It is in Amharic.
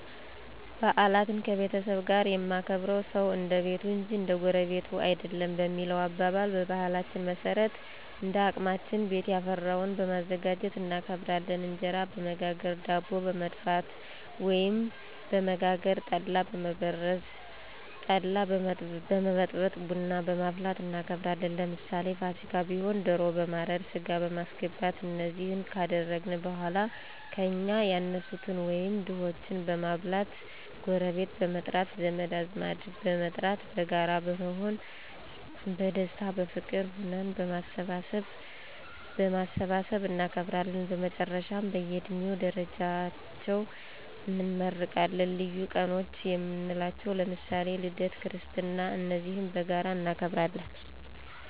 ባዓላትን ከቤተሰብ ጋር የማከብርዉ ሰዉ እንደቤቱ እንጅ እንደጎረቤቱ አይደለም በሚለዉ አባባል፣ በባህላችን መሠረት እንደአቅማችን ቤትያፈራዉን በማዘጋጁት እናከብራለን። እንጀራበመጋገር፣ ዳቦበመድፍት፣ ወይም በመጋገር፣ ጠላበመዘ ጠላበመበጥበጥ፣ ቡናበማፍላትእናከብራለን። ለምሳሌ ፍሲካ ቢሆን ደሮ በማረድ፣ ሥጋበማስገባት እነዚህ ካደአግን በኀላ ከእኛ ያነሱትን ወይም ድሆችን በማብላት፣ ጎረቤት በመጥራት፣ ዘመድአዝማድበመጥራት በጋራ በመሆን በደስታ፣ በፍቅር ሁነን በማሠባሠብ እናከብራለን። በመጨረሻም በእየድሜ ደረጃቸው እንመራረቃለን። ልዪ ቀኖችየምንላቸዉ ለምሳሌ ልደት ክርስትና እነዚህም በጋራ እናከብራለን።